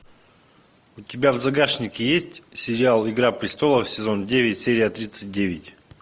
у тебя в загашнике есть сериал игра престолов сезон девять серия тридцать девять